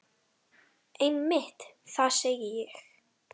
Einmitt það, segi ég.